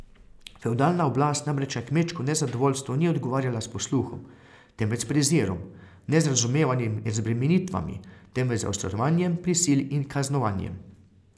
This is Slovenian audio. Fevdalna oblast namreč na kmečko nezadovoljstvo ni odgovarjala s posluhom, temveč s prezirom, ne z razumevanjem in razbremenitvami, temveč z zaostrovanjem prisil in kaznovanjem.